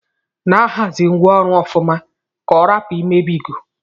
Na ahazi ngwa ọrụ ọfụma ka ọrapu imebigo.